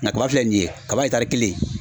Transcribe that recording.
Nka kaba filɛ nin ye kaba etari kelen